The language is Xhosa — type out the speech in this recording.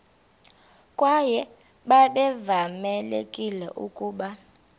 kwaye babevamelekile ukuba